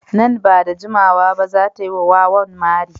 Nan ba da jimawa ba za ta yi wa wawan mari.